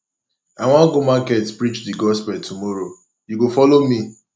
i wan go market preach the gospel tomorrow and you go follow me